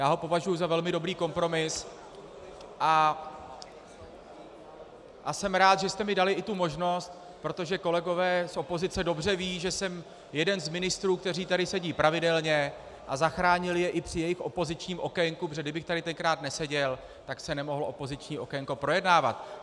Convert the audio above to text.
Já ho považuji za velmi dobrý kompromis a jsem rád, že jste mi dali i tu možnost, protože kolegové z opozice dobře vědí, že jsem jeden z ministrů, kteří tady sedí pravidelně a zachránil je i při jejich opozičním okénku, protože kdybych tady tenkrát neseděl, tak se nemohlo opoziční okénko projednávat.